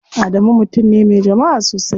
Adamu mutum ne me jama'a sosai.